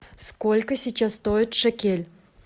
сколько сейчас стоит шекель